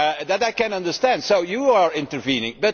That I can understand, so you are intervening.